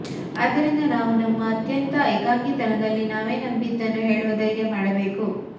ಆದ್ದರಿಂದ ನಾವು ನಮ್ಮ ಅತ್ಯಂತ ಏಕಾಂಗಿತನದಲ್ಲಿ ನಾವೇ ನಂಬಿದ್ದನ್ನು ಹೇಳುವ ಧೈರ್ಯ ಮಾಡಬೇಕು